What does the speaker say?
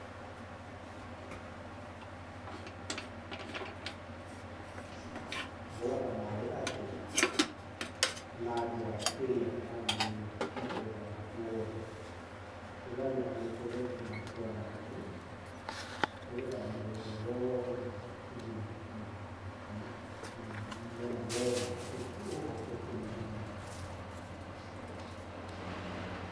Ũhũraga maaĩ atĩa na njĩra ĩrĩa yagĩrĩire mũgũnda waku wothe? Hũthagĩra mĩberethi ya kwara thĩ, nĩgetha mũgũnda wothe ũgĩe maĩ, na mũmera wothe ũhote kũnyua maĩ.